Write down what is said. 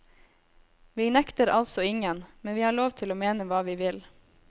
Vi nekter altså ingen, men vi har lov til å mene hva vi vil.